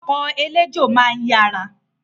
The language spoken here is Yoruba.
Ọkọ̀ eléjò máa ń yára